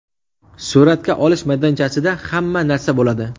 Suratga olish maydonchasida hamma narsa bo‘ladi.